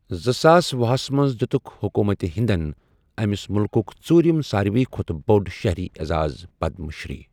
زٕساس ۄہُ ہسَ منٛز دِیُتُک حکوٗمت ہندَن أمِس مُلکُک ژوٗرِم ساروِی کھۄتہٕ بوٚڑ شہری اعزاز پدم شری۔